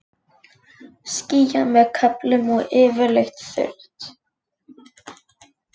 Skýjað með köflum og yfirleitt þurrt